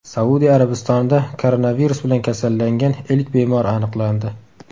Saudiya Arabistonida koronavirus bilan kasallangan ilk bemor aniqlandi.